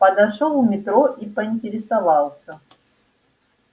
подошёл у метро и поинтересовался